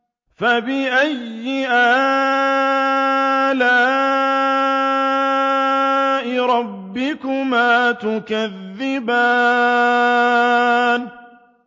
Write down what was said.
فَبِأَيِّ آلَاءِ رَبِّكُمَا تُكَذِّبَانِ